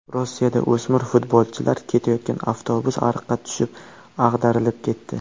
Rossiyada o‘smir futbolchilar ketayotgan avtobus ariqqa tushib, ag‘darilib ketdi.